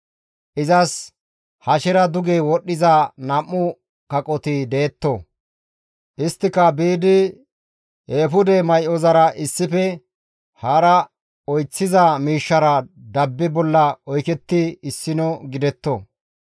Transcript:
Izas hashera duge wodhdhiza nam7u kaqoti detto; isttika biidi eefude may7ozara issife hara oyththiza miishshara dabba bolla oykettidi issino gidetto.